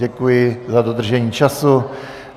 Děkuji za dodržení času.